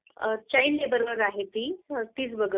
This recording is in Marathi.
चाइल्ड लेबर वर आहे ती तीच बघत